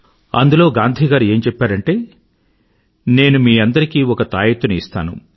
అందులో గాంధీ గారు ఏం చెప్పారంటే నేను మీ అందరికీ ఒక తాయొత్తు ని ఇస్తాను